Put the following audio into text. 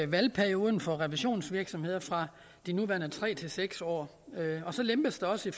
valgperioden for revisionsvirksomheder fra de nuværende tre år til seks år og så lempes der også